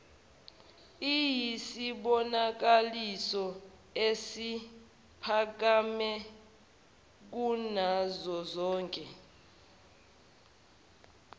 iyisibonakaliso esiphakeme kunazozonke